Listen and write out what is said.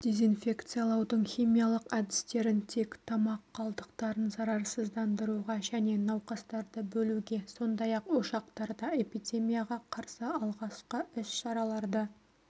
дезинфекциялаудың химиялық әдістерін тек тамақ қалдықтарын зарарсыздандыруға және науқастарды бөлуге сондай-ақ ошақтарда эпидемияға қарсы алғашқы іс-шараларды